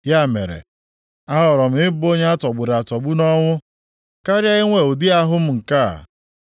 ya mere, ahọrọ m ị bụ onye a tọgburu atọgbu na ọnwụ, karịa inwe ụdị ahụ m nke a.